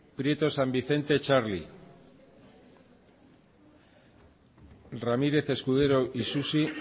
prieto san vicente txarli quiroga cia arantza ramírez escudero isusi